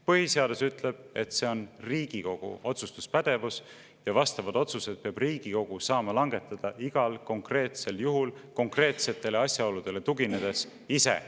Põhiseadus ütleb, et see on Riigikogu otsustuspädevus, ja vastavad otsused peab Riigikogu saama langetada igal konkreetsel juhul konkreetsetele asjaoludele tuginedes ise.